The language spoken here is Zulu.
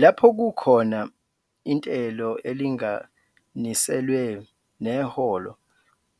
Lapho kukhona intelo elinganiselwe neholo